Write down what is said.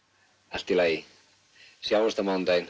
allt í lagi sjáumst á mánudaginn